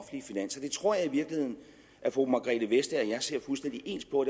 det tror jeg i virkeligheden at fru margrethe vestager og jeg ser fuldstændig ens på og